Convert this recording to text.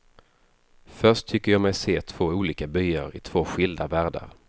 Först tycker jag mig se två olika byar i två skilda världar.